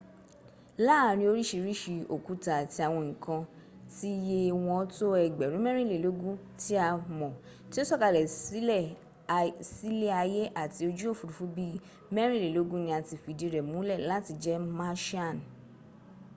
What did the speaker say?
láàrin orísìírìsìí òkúta àti àwọn nǹkan tí ye wọ́n tó ẹgbẹ̀rún mẹ́rìnlélógún tí a mọ̀ tí ó sọ̀kalẹ̀ sílé ayé láti ojú òfúrufú bí i mẹ́rìnlélógún ni a ti fìdí rẹ múlẹ̀ láti jẹ martian.